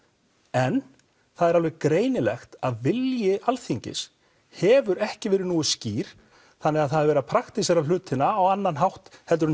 en það er alveg greinilegt að vilji Alþingis hefur ekki verið nógu skýr þannig að það er verið að praktísera hlutina á annan hátt en